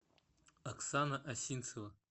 оксана осинцева